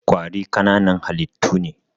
Ƙwari ƙananan halittu ne.